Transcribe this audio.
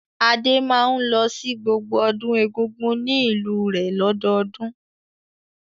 Adé máa ń lọ sí gbogbo ọdún Egungun ní ìlú rẹ̀ lọ́dọọdún.